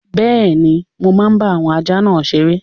Bẹ́ẹ̀ni, mo máa bá àwọn ajá náà seré